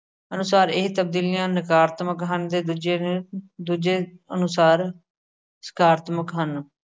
ਅਨੁਸਾਰ ਇਹ ਤਬਦੀਲੀਆ ਨਕਾਰਤਮਕ ਤੇ ਦੂਜੇਦੂਜੇ ਅਨੁਸਾਰ ਸਕਾਰਤਮਕ ਹਨ।